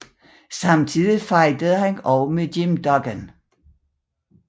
Samtidig fejdede han også med Jim Duggan